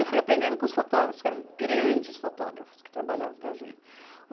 Eu fui aprendendo com os fotógrafos, que eram grandes fotógrafos que trabalhavam para a gente.